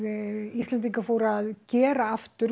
Íslendingar fóru að gera aftur